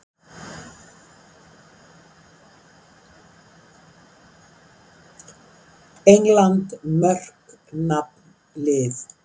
England: Mörk- Nafn- Lið.